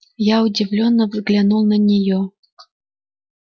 я удивлённо взглянул на неё